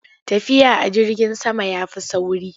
Tafiya a jirgin sama ya fi sauri.